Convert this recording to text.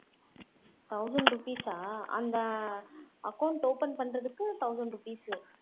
thousand rupees சா அந்த account open பண்றதுக்கு thousand rupees